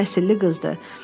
Ali təhsilli qızdır.